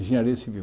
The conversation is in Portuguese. Engenharia civil.